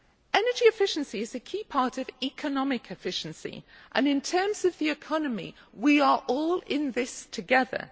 Energy efficiency is a key part of economic efficiency and, in terms of the economy, we are all in this together.